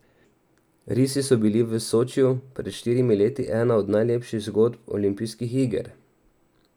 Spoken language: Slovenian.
Risi so bili v Sočiju pred štirimi leti ena od najlepših zgodb olimpijskih iger.